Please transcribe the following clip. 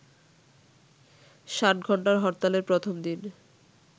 ষাটঘন্টার হরতালের প্রথম দিন